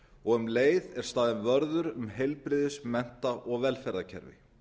og um leið er staðinn vörður um heilbrigðis mennta og velferðarkerfi